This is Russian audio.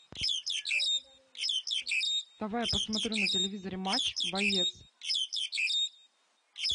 давай я посмотрю на телевизоре матч боец